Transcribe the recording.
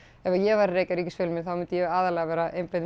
ef ég væri að reka ríkisfjölmiðil þá myndi ég aðallega vera að einblína